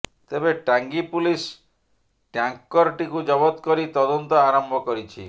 ତେବେ ଟାଙ୍ଗୀ ପୁଲିସ୍ ଟ୍ୟାଙ୍କରଟିକୁ ଜବତ କରି ତଦନ୍ତ ଆରମ୍ଭ କରିଛି